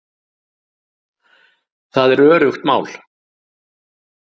Það er öruggt mál